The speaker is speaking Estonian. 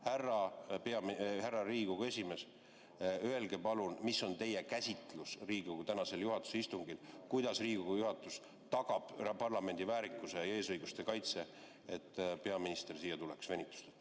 Härra Riigikogu esimees, öelge palun, mis on teie käsitlus Riigikogu tänasel juhatuse istungil, kuidas Riigikogu juhatus tagab parlamendi väärikuse ja eesõiguste kaitse, et peaminister tuleks siia venitamata.